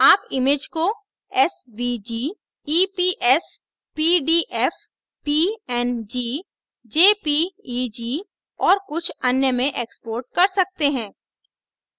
आप image को svg eps pdf png jpeg और कुछ अन्य में export कर सकते हैं